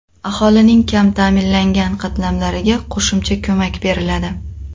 Aholining kam ta’minlangan qatlamlariga qo‘shimcha ko‘mak beriladi.